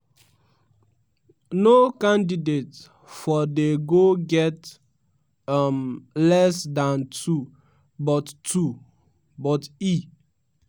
no candidate for de go get um less dan two but two but e